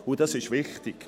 Das ist wichtig.